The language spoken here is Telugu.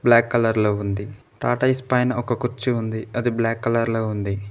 బ్లాక్ కలర్ లో ఉంది టాటాయిస్ పైన ఒక కుర్చీ ఉంది అది బ్లాక్ కలర్ లో ఉంది.